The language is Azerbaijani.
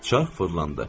Çarx fırlandı.